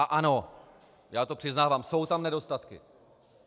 A ano, já to přiznávám, jsou tam nedostatky.